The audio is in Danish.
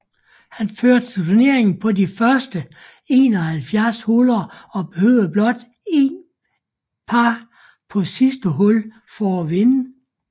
Han førte turneringen på de første 71 huller og behøvede blot en par på sidste hul for at vinde